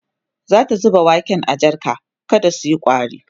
zata zuba waken a jarka kada suyi ƙwari